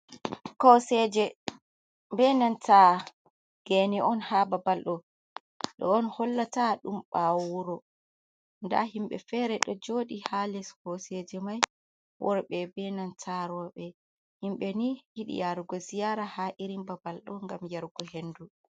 Kokoseje benanta gene on ha babal ɗo, ɗo on hollata ɗum ɓawo wuro da himɓe fere ɗo joɗi ha les koseje mai worɓe benanta roɓe, himɓe ni yidi yarugo ziyara ha irin babal ɗo ngam yarugo hendu.